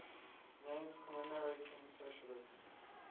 names commemorating socialist